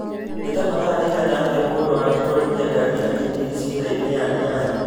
nĩ ta mathaa rĩigana atĩa mũndũ angĩtwarithia ngari agathiĩ gĩcigĩrĩra-inĩ ya diani